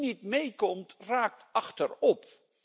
Wie niet meekomt, raakt achterop.